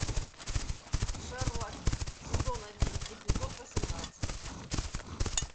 шерлок сезон один эпизод восемнадцать